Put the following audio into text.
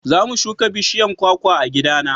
za mu shuka bishiyan kwakwa a gida na